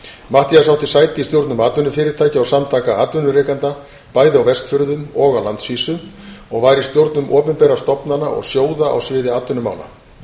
matthías átti sæti í stjórnum atvinnufyrirtækja og samtaka atvinnurekenda bæði á vestfjörðum og á landsvísu og var í stjórnum opinberra stofnana og sjóða á sviði atvinnumála